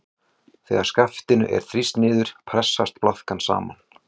Þegar skaftinu er þrýst niður pressast blaðkan saman.